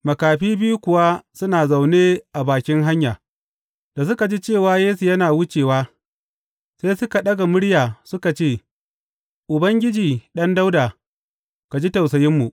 Makafi biyu kuwa suna zaune a bakin hanya, da suka ji cewa Yesu yana wucewa, sai suka ɗaga murya suka ce, Ubangiji, Ɗan Dawuda, ka ji tausayinmu!